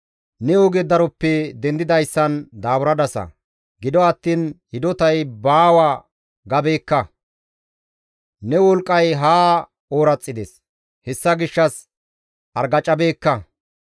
Ne oge daroppe dendidayssan daaburadasa; gido attiin, ‹Hidotay baawa› gabeekka. Ne wolqqay haa ooraxides; hessa gishshas argacabeekka.